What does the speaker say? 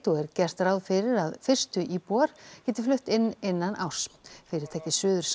og er gert ráð fyrir að fyrstu íbúar geti flutt inn innan árs fyrirtækið